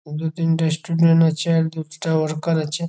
দু তিনটে স্টুডেন্ট আছে আর দু ত তে ওয়ার্কার আছে ।